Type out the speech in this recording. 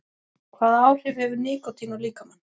Hvaða áhrif hefur nikótín á líkamann?